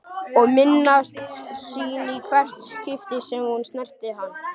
Og minnast sín í hvert skipti sem hún snerti hann.